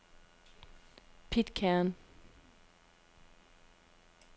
Pitcairn